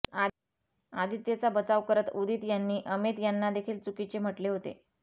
आदित्यचा बचाव करत उदित यांनी अमित यांनादेखील चुकीचे म्हटले होते